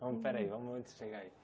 Vamos, peraí, vamos antes chegar aí.